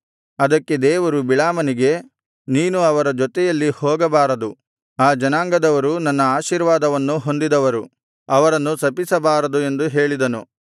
ಅದಕ್ಕೆ ದೇವರು ಬಿಳಾಮನಿಗೆ ನೀನು ಅವರ ಜೊತೆಯಲ್ಲಿ ಹೋಗಬಾರದು ಆ ಜನಾಂಗದವರು ನನ್ನ ಆಶೀರ್ವಾದವನ್ನು ಹೊಂದಿದವರು ಅವರನ್ನು ಶಪಿಸಬಾರದು ಎಂದು ಹೇಳಿದನು